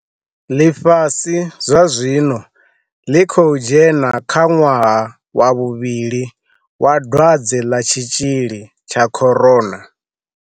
Ḽifhasi zwazwino ḽi khou dzhena kha ṅwaha wa vhu-vhili wa dwadze ḽa tshitzhili tsha corona.